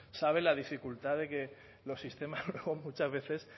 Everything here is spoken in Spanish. sabe la dificultad de que los sistemas muchas veces